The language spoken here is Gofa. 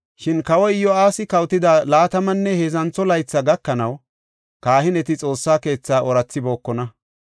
Shin kawoy Iyo7aasi kawotida laatamanne heedzantho laythi gakanaw, kahineti Xoossa keetha oorathibookona.